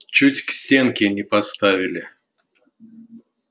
чуть к стенке не поставили